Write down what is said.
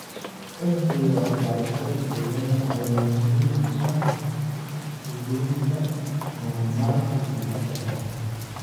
Uhdhigga waxbarashada deegaanka ayaa muhiim u ah hubinta horumarka joogtada ah.